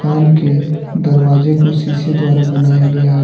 दुकान के दरवाजे को शीशे द्वारा बनाया गया है।